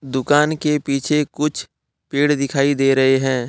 दुकान के पीछे कुछ पेड़ दिखाई दे रहे हैं।